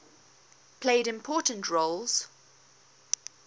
played important roles